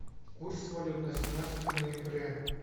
курс валют на семнадцатое ноября